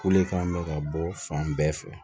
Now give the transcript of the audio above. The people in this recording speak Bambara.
Kule kan bɛ ka bɔ fan bɛɛ fɛ